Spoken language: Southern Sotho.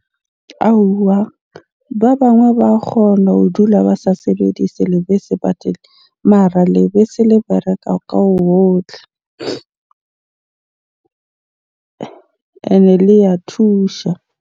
Aowa ba bangwe ba kgona ho dula ba sa sebedise lebese . Mara lebese le bereka ka . Ene le ya thusha.